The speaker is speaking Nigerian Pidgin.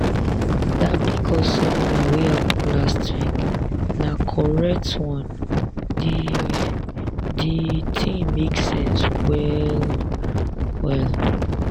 dat pcos seminar wey happen last week na correct one di di thing make sense well-well.